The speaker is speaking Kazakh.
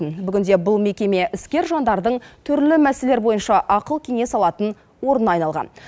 бүгінде бұл мекеме іскер жандардың түрлі мәселелер бойынша ақыл кеңес алатын орнына айналған